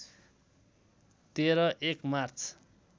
१३ १ March